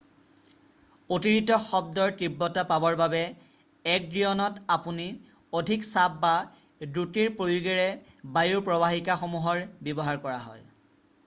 অতিৰিক্ত শব্দৰ তীব্ৰতা পাবৰ বাবে একৰ্ডিয়নত আপুনি অধিক চাপ বা দ্ৰুতিৰ প্ৰয়োগেৰে বায়ু প্ৰৱাহিকাসমূহৰ ব্যৱহাৰ কৰে